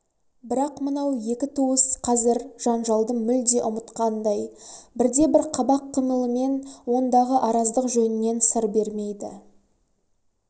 бірақ мынау екі туыс қазір жанжалды мүлде ұмытқандай бірде-бір қабақ қимылымен ондағы араздық жөнінен сыр бермейді